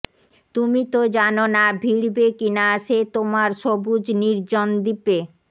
তুমি তো জানো না ভিড়বে কিনা সে তোমার সবুজ নির্জন দ্বীপে